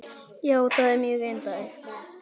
Já, það er mjög indælt.